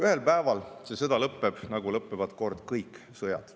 Ühel päeval see sõda lõppeb, nagu lõppevad kord kõik sõjad.